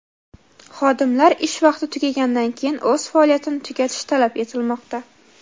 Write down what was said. Xodimlar ish vaqti tugagandan keyin o‘z faoliyatini tugatish talab etilmoqda.